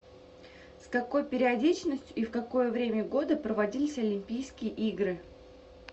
с какой периодичностью и в какое время года проводились олимпийские игры